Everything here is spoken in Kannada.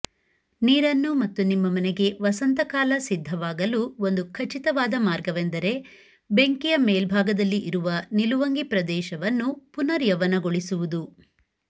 ನೀರನ್ನು ಮತ್ತು ನಿಮ್ಮ ಮನೆಗೆ ವಸಂತಕಾಲ ಸಿದ್ಧವಾಗಲು ಒಂದು ಖಚಿತವಾದ ಮಾರ್ಗವೆಂದರೆ ಬೆಂಕಿಯ ಮೇಲ್ಭಾಗದಲ್ಲಿ ಇರುವ ನಿಲುವಂಗಿ ಪ್ರದೇಶವನ್ನು ಪುನರ್ಯೌವನಗೊಳಿಸುವುದು